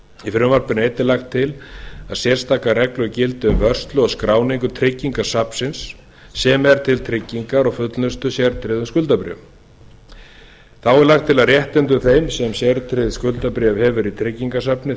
í frumvarpinu er einnig lagt til að sérstakar reglur gildi um vörslu og skráningu tryggingasafnsins sem er til tryggingar og fullnustu sértryggðra skuldabréfa þá er lagt til að réttindum þeim sem sértryggð skuldabréf hefur í tryggingasafni